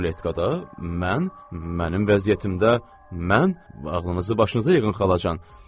Ruletkada mən mənim vəziyyətimdə mən ağlınızı başınıza yığın xalacan.